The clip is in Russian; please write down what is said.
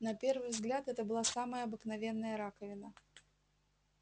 на первый взгляд это была самая обыкновенная раковина